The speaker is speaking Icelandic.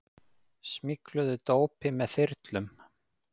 Smygluðu dópi með þyrlum